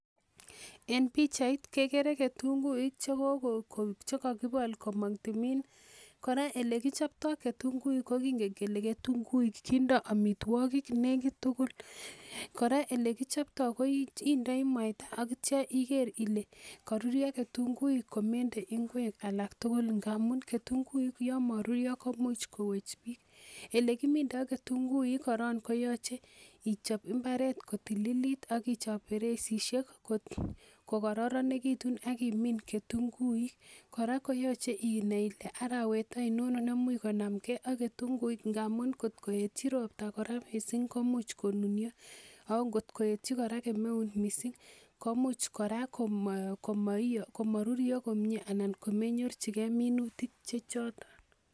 En pichait kekere kitunguik cheko chekokibol komong timin, elekichoptoo kitunguik ko kingen kele ketunguik kindoo amitwogik nekit tugul kora elekichoptoo indoi mwaita ak itya iker ile koruryo ketunguik komende ingwek alak tugul amun ketunguik yon moruryo komuch kowech biik. Elekimindoo ketunguik korong koyoche ichop mbaret kotililit ak ichop beresisiek kokororonekitun ak imin ketunguik kora koyoche inai ile arawet oinon nemuch konamgee ak ketunguik amun kot koetyi ropta kora missing komuch konunyo ako ngot koetyi kemeut kora missing komuch kora komoi komoruryo komie anan komenyorchigee minutik che choton